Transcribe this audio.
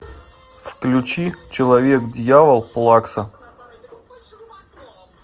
включи человек дьявол плакса